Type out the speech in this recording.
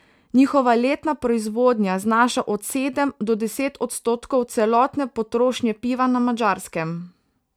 Njihova letna proizvodnja znaša od sedem do deset odstotkov celotne potrošnje piva na Madžarskem.